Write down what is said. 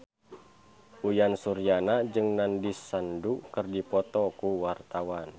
Uyan Suryana jeung Nandish Sandhu keur dipoto ku wartawan